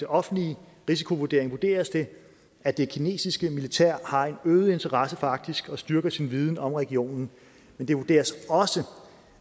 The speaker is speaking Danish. offentlige risikovurdering vurderes det at det kinesiske militær har en øget interesse for arktis og styrker sin viden om regionen men det vurderes også